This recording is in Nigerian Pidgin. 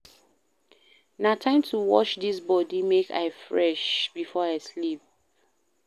Na time to wash dis body make I fresh before I sleep.